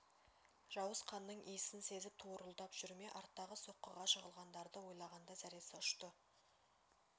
жауыз қанның иісін сезіп торуылдап жүр ме арттағы соққыға жығылғандарды ойлағанда зәресі ұшты